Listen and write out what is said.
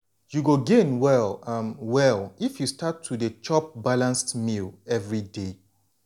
you go gain well um well if you start to dey chop balanced meals everyday.